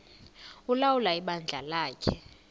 ulawula ibandla lakhe